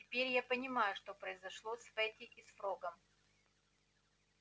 теперь я понимаю что произошло с фэтти и с фрогом